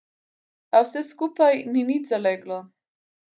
A vse skupaj ni nič zaleglo.